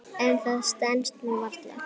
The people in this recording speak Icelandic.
En það stenst nú varla.